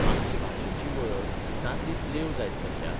आमची भाशेची वळख दिसान दीस लेव जायत चल्ल्या?